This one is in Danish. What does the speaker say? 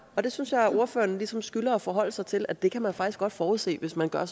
og det synes jeg at ordføreren ligesom skylder at forholde sig til nemlig at det kan man faktisk godt forudse hvis man gør